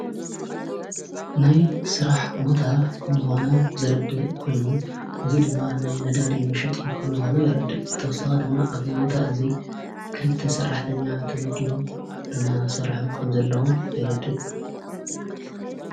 ናይ ሥራሕ ቦታ ከም ዝኾነ ዘረድ ኮይኑ እዝ ድማ ናይ ነዳዲ ምሸጢ ኸም ዝኾነ የረድእ። ክተወሳኺ ድማ ኣብዚ ቦታ እዙይ ክልተ ሠራሕተኛ ተመዲዎም እና ሠርሑ ከም ዘለዉ የረድእ።